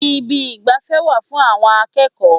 Ibi ìgbafẹ́ wà fún àwọn akẹ́kọ̀ọ́.